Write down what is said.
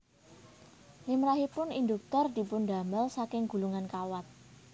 Limrahipun Induktor dipundamel saking gulungan kawat